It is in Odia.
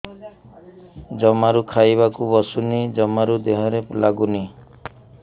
ଜମାରୁ ଖାଇବାକୁ ବସୁନି ଜମାରୁ ଦେହରେ ଲାଗୁନି